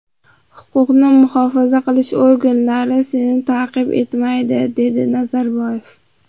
Huquqni muhofaza qilish organlari seni ta’qib etmaydi”, - dedi Nazarboyev.